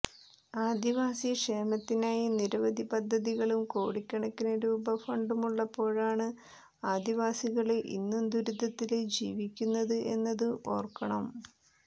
ആദിവാസി ക്ഷേമത്തിനായി നിരവധി പദ്ധതികളും കോടിക്കണക്കിന് രൂപ ഫണ്ടുമുള്ളപ്പോഴാണ് ആദിവാസികള് ഇന്നും ദുരിതത്തില് ജീവിക്കുന്നത് എന്നതും ഓര്ക്കണം